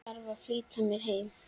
Þarf að flýta mér heim.